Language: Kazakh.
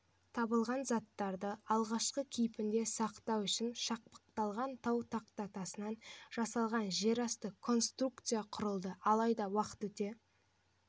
табылған заттарды алғашқы кейпінде сақтау үшін шақпақталған тау тақтатасынан жасалған жерасты конструкция құрылды алайда уақыт өте